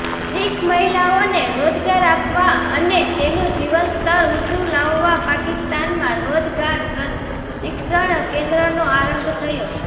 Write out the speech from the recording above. શીખ મહિલાઓને રોજગાર આપવા અને તેનું જીવનસ્તર ઊંચું લાવવા પાકિસ્તાનમાં રોજગાર પ્રશિક્ષણ કેન્દ્રનો આરંભ થયો